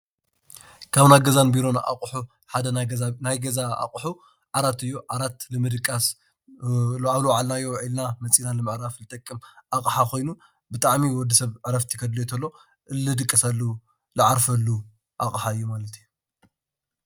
ካብ ናይ ገዛን ቢሮ ኣቑሑ ሓደ ናይ ገዛ ኣቑሑ ዓራት እዮ። ዓራት ንምድቃስ ኣብ ዝወዓልና ዊዑልና መፂና ንምድቃስ ንምዕራፍ ኣቕሓ ኮይኑ ብጣዕሚ ወዲ ሰብ ዕረፍቲ ከድልዮ እንተሎ ዝድቅሰሉ ዝዓርፈሉ ኣቕሓ እዩ ማለት እዩ።